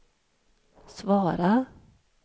svara